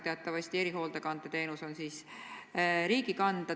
Teatavasti erihoolekande teenus on riigi kanda.